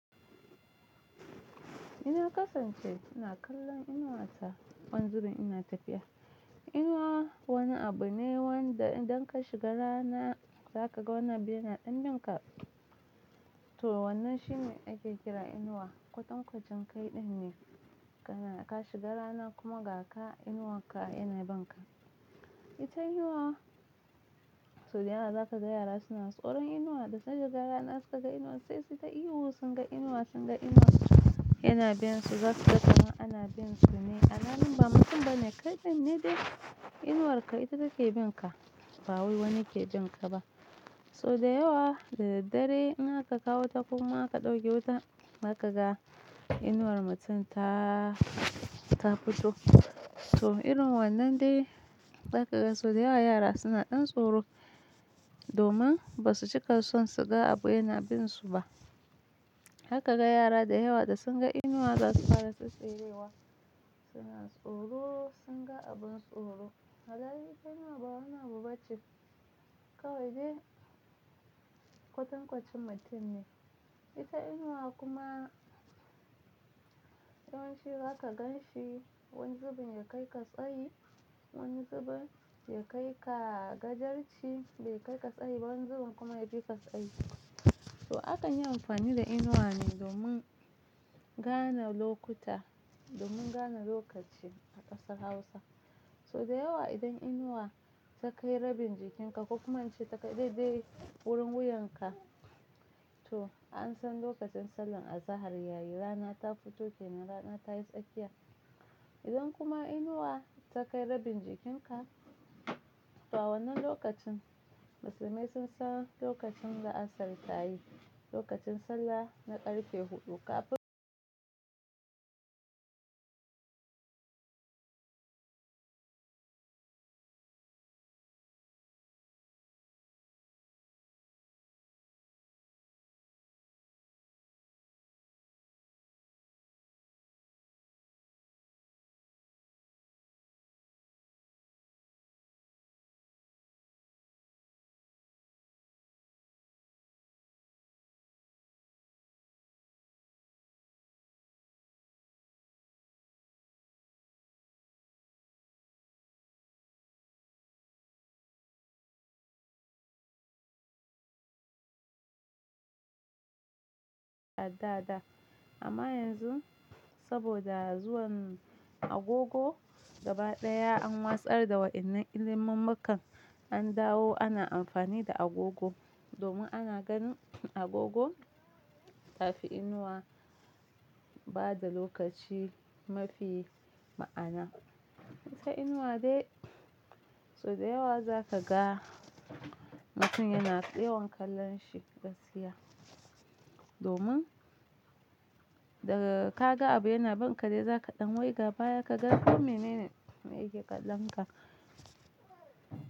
Ina kasance ina kallon inuwa ta wani zubin ina tafiya. Inuwa wani abu ne wanda idan ka shiga rana za ka ga wani abu yana ɗan bin ka. To wannan shi ne ake kira inuwa. Kwatan kwacin kai ɗin ne ka na ka shiga rana kuma ga ka inuwa ka yana bin ka. Ita inuwa, so da yawa za ka ga yara suna tsoron inuwa da sai da gara na suka ga inuwa sai sai ta ihu sun ga inuwa, sun ga inuwa yana bin su za su ga kaman ana bin su ne. Alhalin ba mutum ba ne kai ɗin ne dai inuwar ka ita take bin ka ba wai wani ke bin ka ba. So da yawa da daddare in aka kawo ta kuma aka ɗauke wuta za ka ga inuwar mutum ta, ta fito. To irin wannan dai za ka ga so da yawa yara suna ɗan tsoro domin ba su cika son su ga abu yana bin su ba. Za ka ga yara da yawa da sun ga inuwa za su fara tsitsiriwa suna tsoro sun ga abin tsoro. Alhali ita inuwa ba wani abu ba ce kawai dai kwatan kwacin mutum ne. Ita inuwa kuma yawanci za ka gan shi wani zubin ya kai ka tsayi, wani zubin ya kai ka gajarci bai kai ka tsayi ba wani zubin kuma ya fi ka tsayi. So a kan yi amfani da inuwa ne domin gane lokuta domin gane lokaci a ƙasar Hausa. So da yawa idan inuwa ta kai rabin jikin ka ko kuma an ce ta kai daidai wurin wuyan ka to an san lokacin sallan azahar yayi rana ta fito kenan rana ta yi tsakiya. Idan kuma inuwa ta kai rabin jikin ka to wannan lokacin musulmai sun san lokacin la'asar ta yi lokacin sallah na ƙarfe huɗu kafin amma yanzu saboda zuwan agogo gaba ɗaya an watsar da wa'inan ilimin makon an dawo ana amfani da agogo domin ana ganin agogo tafi inuwa bada lokaci mafi ma'ana. Ita inuwa dai so da yawa za ka ga mutum yana tseyon kallon shi gaskiya domin daga ka ga abu yana bin ka dai za ka ɗan wai gaba ya ka ga kome mene ne yake kallon ka.